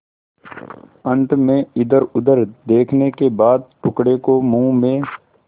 अंत में इधरउधर देखने के बाद टुकड़े को मुँह में